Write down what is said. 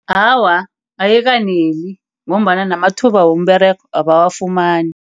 Awa, ayikaneli ngombana namathuba womberego abawafumani.